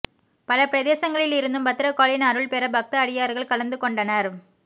பல பிரதேசங்களில் இருந்தும் பத்திர காளியின் அருள் பெற பக்த அடியார்கள் கலந்து கொண்டனர்